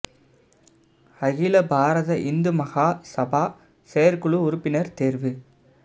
அகில பாரத இந்து மகா சபா செயற்குழு உறுப்பினர் தேர்வு